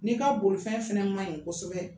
N'i ka bolifɛn fɛnɛ man ɲi kosɛbɛ